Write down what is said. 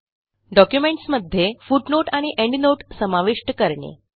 डॉक्युमेंटसमध्ये footnote आणि endnote समाविष्ट करणे